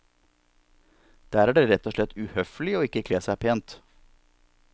Der er det rett og slett uhøflig å ikke kle seg pent.